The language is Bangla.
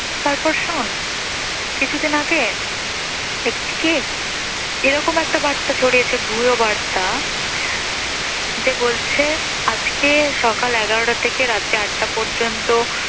তারপর শোন কিছুদিন আগে হয়েছে কি? এরকম একটা বার্তা ছড়িয়েছে ভুয়ো বার্তা, যে বলছে আজকে সকাল এগারোটা থেকে রাত চারটা পর্যন্ত